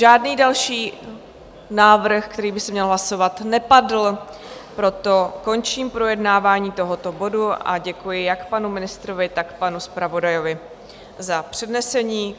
Žádný další návrh, který by se měl hlasovat, nepadl, proto končím projednávání tohoto bodu a děkuji jak panu ministrovi, tak panu zpravodaji za přednesení.